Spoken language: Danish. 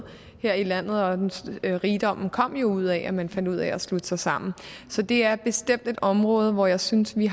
her i landet og rigdommen kom jo ud af at man fandt ud af at slutte sig sammen så det er bestemt et område hvor jeg synes vi